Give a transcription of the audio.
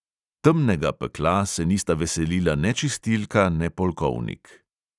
Temnega pekla se nista veselila ne čistilka ne polkovnik.